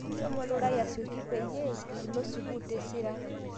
Shomo lurai asioki payie ilo sukul tesiran